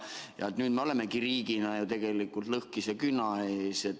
Ja nüüd me olemegi riigina ju tegelikult lõhkise küna ees.